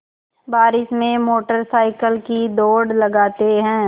बारिश में motorcycle की दौड़ लगाते हैं